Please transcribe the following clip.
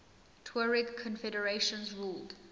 tuareg confederations ruled